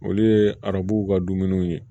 Olu ye arabuw ka dumuniw ye